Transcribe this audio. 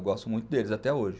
Eu gosto muito deles até hoje.